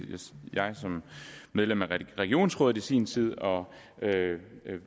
jeg som medlem af regionsrådet i sin tid og